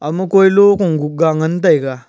ama kui lokung gukga ngan taiga.